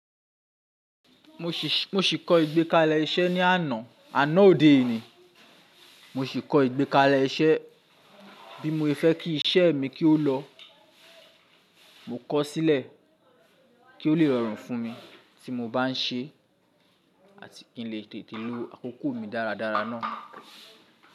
Mo ṣì kọ́ ìgbékalẹ̀ iṣẹ́ ní àná, àná òde o ni, mo ṣì kọ́ ìgbékalẹ̀ iṣẹ́ bí mo fẹ́ kí iṣẹ́ mi kó lọ. Mo kọ ọ́ sílẹ̀ kí o lè rọrùn fún mi tí mo bá ń ṣe é àti kí n lè tètè lo àkókò mi dáradára náà.